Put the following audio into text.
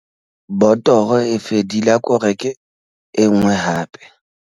Botoro e fedile ako reke e nngwe hape.